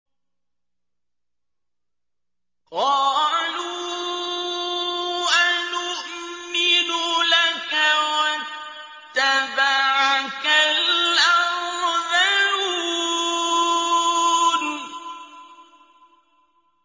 ۞ قَالُوا أَنُؤْمِنُ لَكَ وَاتَّبَعَكَ الْأَرْذَلُونَ